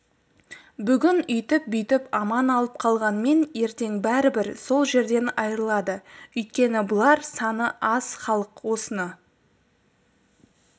бүгін үйтіп-бүйтіп аман алып қалғанмен ертең бәрібір сол жерден айырылады өйткені бұлар саны аз халық осыны